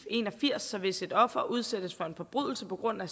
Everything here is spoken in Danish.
en og firs så hvis et offer udsættes for en forbrydelse på grund af